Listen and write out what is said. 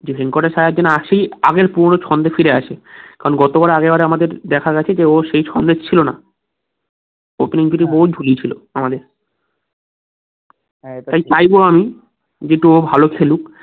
যে ভেঙ্কটেশ আইয়ার যেন আসেই আগের পুরোনো ছন্দে ফিরে আসে কারণ গতবারে আগের বারে আমাদের দেখা গেছে যে ও সেই form এ ছিল না opening থেকে ও ঝুলিয়েছিল আমাদের চাইবো আমি যে একটু ও ভালো খেলুক